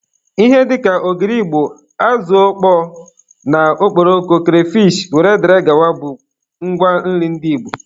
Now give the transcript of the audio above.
Ihe dịka ogiri igbo, azụ ọkpọọ na okporoko, kreyfishi wdg bụ ngwa nri ndị igbo